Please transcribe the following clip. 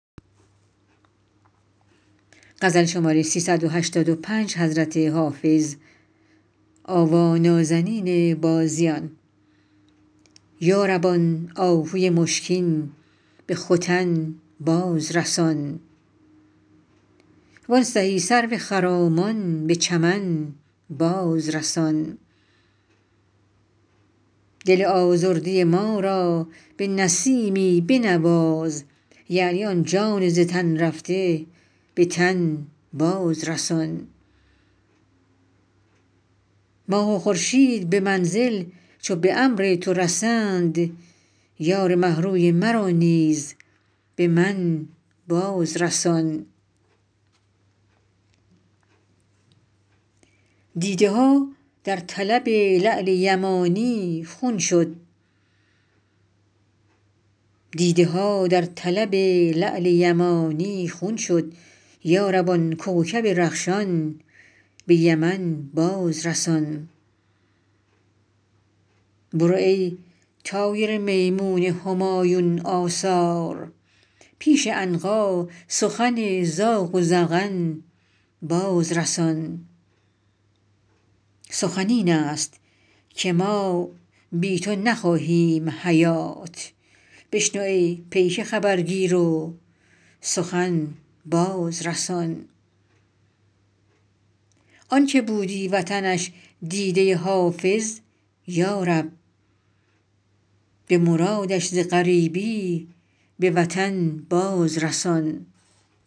یا رب آن آهوی مشکین به ختن باز رسان وان سهی سرو خرامان به چمن باز رسان دل آزرده ما را به نسیمی بنواز یعنی آن جان ز تن رفته به تن باز رسان ماه و خورشید به منزل چو به امر تو رسند یار مه روی مرا نیز به من باز رسان دیده ها در طلب لعل یمانی خون شد یا رب آن کوکب رخشان به یمن باز رسان برو ای طایر میمون همایون آثار پیش عنقا سخن زاغ و زغن باز رسان سخن این است که ما بی تو نخواهیم حیات بشنو ای پیک خبرگیر و سخن باز رسان آن که بودی وطنش دیده حافظ یا رب به مرادش ز غریبی به وطن باز رسان